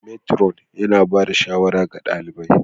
matron yana ba da shawara ga ɗalibi